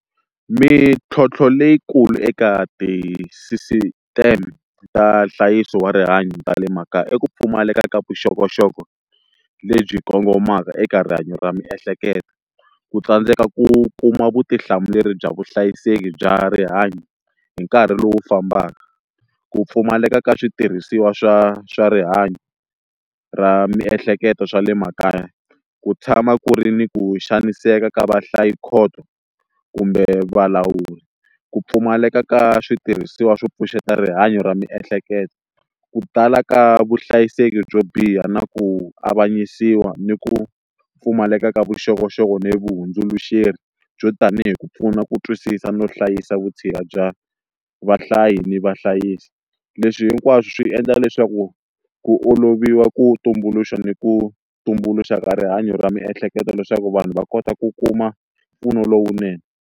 Mintlhontlho leyikulu eka ti sisiteme ta nhlayiso wa rihanyo ta le makaya i ku pfumaleka ka vuxokoxoko lebyi kongomaka eka rihanyo ra miehleketo, ku tsandzeka ku kuma vutihlamuleri bya vuhlayiseki bya rihanyo hi nkarhi lowu fambaka, ku pfumaleka ka switirhisiwa swa swa rihanyo ra miehleketo swa le makaya, ku tshama ku ri ni ku xaniseka ka vahlayikhoto kumbe valawuri ku pfumaleka ka switirhisiwa swo pfuxeta rihanyo ra miehleketo, ku tala ka vuhlayiseki byo biha na ku avanyisiwa ni ku pfumaleka ka vuxokoxoko ni vahundzuluxeri byo tanihi ku pfuna ku twisisa no hlayisa vutshila bya vahlayi ni vahlayisi leswi hinkwaswo swi endla leswaku ku oloviwa ku tumbuluxa ni ku tumbuluxa ka rihanyo ra miehleketo leswaku vanhu va kota ku kuma mpfuno lowunene.